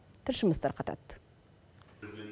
тілшіміз тарқатады